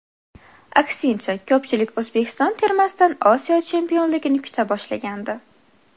Aksincha, ko‘pchilik O‘zbekiston termasidan Osiyo chempionligini kuta boshlagandi.